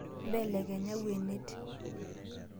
Mbelekenya lwuenet